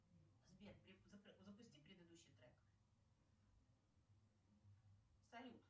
сбер запусти предыдущий трек салют